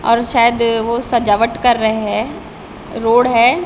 और शायद वो सजावट कर रहे हैं रोड है।